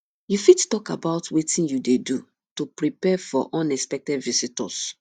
you fit talk about wetin you dey do to prepare for unexpected visitors